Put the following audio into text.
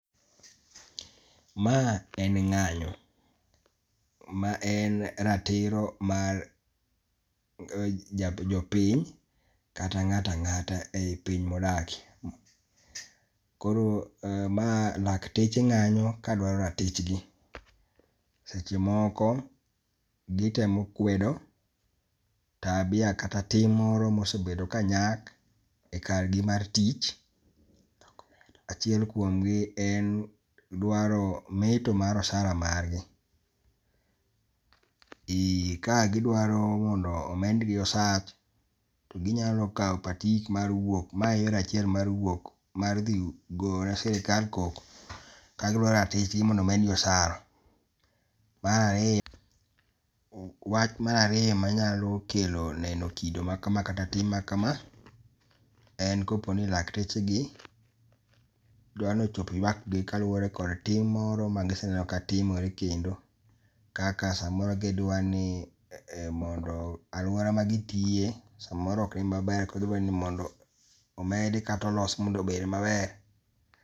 Ma en ng'anyo , ma en ratiro mar ja jopiny kata ng'ato ang'ato e i piny ma odake. Koro mae laketch ng'anyo ka dwaro ratich gi. Seche moko gi temo kwedo tabia kata tim moro ma osebdo ka nyak kar gi mar vtich. Achiel kuom gi en dwaro meto mar osara mar gi. Kae gi dwaro mondo omed gi osara gi nyalo kao patik mar wuok ma e yor achiel mar wuok mar dhi go ne sirkal koko ka gi dwa ratich gi mondo omed gi osara . Mar ariyo, wach mar ariyo ma nyalo kelo neno kido maka kata tim ma kama en ka po ni lakteche gi dwa ni ochop ywak gi kaluore kod tim moro ma gi seneno katimore kendo kaka sa moro ka gi dwa ni mondo aluora ma gi tiye sa moro ok en ma ber ka gi dwa omed kata olos mondo obed ma ber.